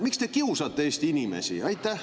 Miks te kiusate Eesti inimesi?